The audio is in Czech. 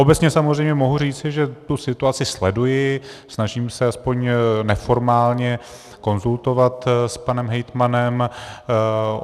Obecně samozřejmě mohu říci, že tu situaci sleduji, snažím se aspoň neformálně konzultovat s panem hejtmanem.